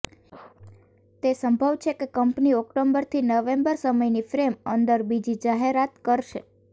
તે સંભવ છે કે કંપની ઓક્ટોબરથી નવેમ્બર સમયની ફ્રેમ અંદર બીજી જાહેરાત કરશે